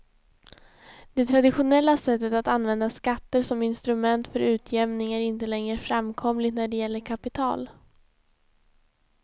Det traditionella sättet att använda skatter som instrument för utjämning är inte längre framkomligt när det gäller kapital.